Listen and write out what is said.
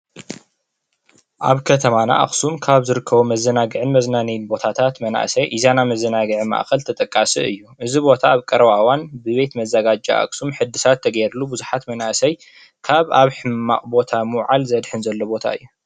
ኣብ ከተማና ኣክሱም ካብ ዝርከቡ መዘናግዕን መዝናነይን ቦታታት መናእሰይ ኢዛና መዘናግዒ ማእከል ተጠቃሲ እዩ፣ እዚ ቦታ ኣብ ቀረባ እዋን ብቤት መዘጋጃ ኣክሱም ሕድሳት ተገይሩሉ ብዙሓት መናእሰይ ካብ ኣብ ሕማቅ ቦታ ምውዓል ዘድሕን ዘሎ ቦታ እዩ፡፡